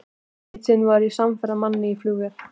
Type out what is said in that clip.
Eitt sinn var ég samferða manni í flugvél.